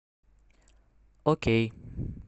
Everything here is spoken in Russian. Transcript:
окей